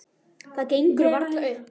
Það gengur varla upp.